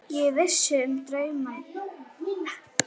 Ég vissi um draum þeirra.